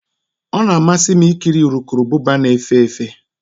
Ọ na-amasị m ikiri urukurubụba na-efe efe